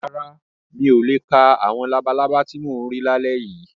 Rárá, mi ò le ka àwọn labalábá ti mò ń rí lálẹ́ yìí.